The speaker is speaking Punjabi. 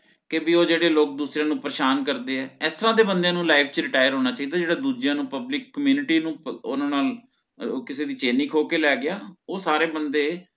ਕਿ ਬਈ ਉਹ ਜਿਹੜੇ ਲੋਕ ਦੂਸਰੇ ਨੂੰ ਪਰੇਸ਼ਾਨ ਕਰਦੇ ਹੈ ਇਸ ਤਰਹ ਦੇ ਬੰਦੇ ਨੂ life ਚ retire ਹੋਣਾ ਚਾਹਿਦਾ ਜੇਹੜਾ ਦੁਜ੍ਯਾ ਨੂ public community ਨੂ ਓਹਨਾ ਨਾਲ ਉਹ ਕਿਸੇ ਦੀ ਚੈਨ ਹੀ ਖੋ ਕੇ ਗਿਆ ਓਹ ਸਾਰੇ ਬੰਦੇ